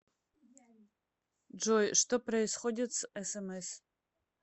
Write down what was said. джой что происходит с смс